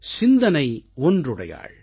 சிந்தனை ஒன்றுடையாள்